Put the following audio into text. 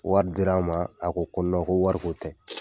Wari dir'an ma a ko ko non ko wariko tɛ